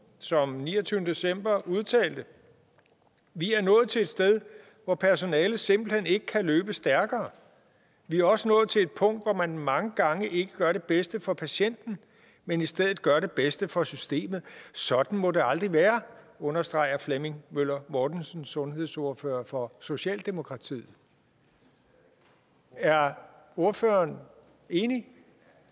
som den niogtyvende december udtalte vi er nået til et sted hvor personalet simpelt hen ikke kan løbe stærkere vi er også nået til et punkt hvor man mange gange ikke gør det bedste for patienten men i stedet gør det bedste for systemet sådan må det aldrig være understreger flemming møller mortensen sundhedsordfører for socialdemokratiet er ordføreren enig